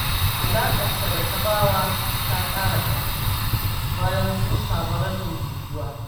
Alaƙata da Tabawa ta ƙara ƙarfi, bayan mun samu rashin jituwa